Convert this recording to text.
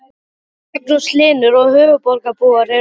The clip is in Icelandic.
Magnús Hlynur: Og höfuðborgarbúar eru þeir velkomnir?